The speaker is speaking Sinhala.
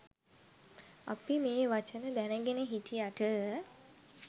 අපි මේ වචන දැනගෙන හිටියට